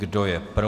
Kdo je pro?